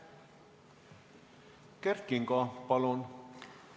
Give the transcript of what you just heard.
Kert Kingo, palun!